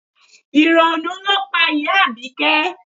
Ìrònú ló pa ìyá Abike